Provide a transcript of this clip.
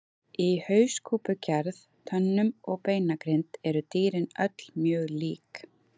Í hauskúpugerð, tönnum og beinagrind eru dýrin öll mjög lík.